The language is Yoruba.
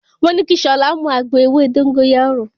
Mo ní kí Ṣọlá mú àgbo ewé dógóyárò.